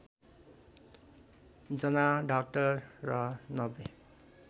जना डाक्टर र ९०